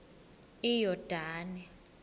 iyordane